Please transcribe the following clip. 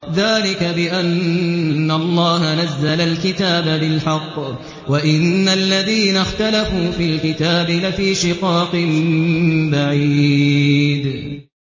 ذَٰلِكَ بِأَنَّ اللَّهَ نَزَّلَ الْكِتَابَ بِالْحَقِّ ۗ وَإِنَّ الَّذِينَ اخْتَلَفُوا فِي الْكِتَابِ لَفِي شِقَاقٍ بَعِيدٍ